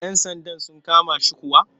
Yan sandan sun kama shi kuwa?